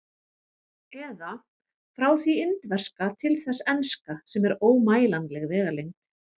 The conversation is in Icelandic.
Eða: frá því indverska til þess enska, sem er ómælanleg vegalengd.